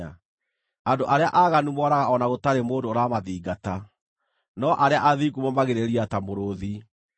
Andũ arĩa aaganu moraga o na gũtarĩ mũndũ ũramathingata, no arĩa athingu momagĩrĩria ta mũrũũthi.